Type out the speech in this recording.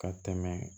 Ka tɛmɛ